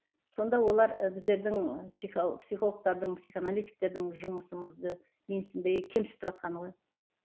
сонда олар ы біздердің психологтардың психоаналитиктердің жұмысымызды менсінбей кемсітіватқаны ғой